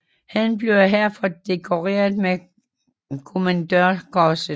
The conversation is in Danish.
Han blev herfor dekoreret med Kommandørkorset